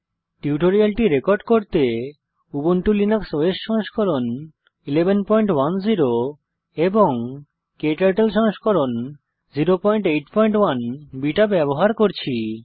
টিউটোরিয়ালটি রেকর্ড করতে Ubuntu Linux OS সংস্করণ 1110 এবং ক্টার্টল সংস্করণ 081 বিটা ব্যবহার করছি